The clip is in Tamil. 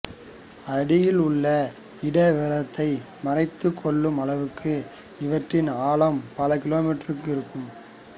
அடியில் உள்ள இட விவரத்தை மறைத்து கொள்ளும் அளவுக்கு இவற்றின் ஆழம் பல கிலோமீட்டருக்கு இருக்கும்